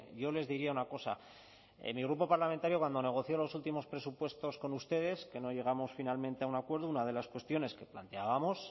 yo les diría una cosa en mi grupo parlamentario cuando negoció los últimos presupuestos con ustedes que no llegamos finalmente a un acuerdo una de las cuestiones que planteábamos